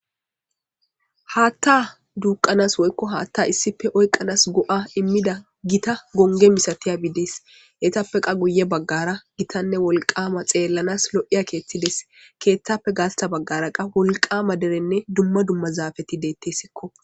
Haatta duuqanas woykko haatta issipe oyqqanas go7a immida gita gonge misatiya biides etappe qa guye baggara gitanne wolqama xeellanas lo7iya keethides keeththappe gaasta baggara qa wolqama derenne dumma dumma zaafeti deettessikko.